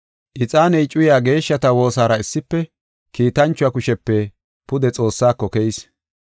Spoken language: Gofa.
Ixaaniya cuyay geeshshata woosaara issife kiitanchuwa kushepe pude Xoossaako keyis.